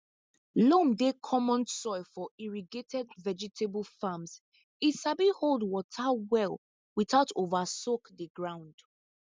loam dey common soil for irrigated vegetable farms e sabi hold water well without over soak di ground